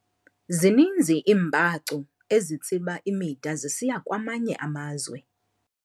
Zininzi iimbacu ezitsiba imida zisiya kwamanye amazwe.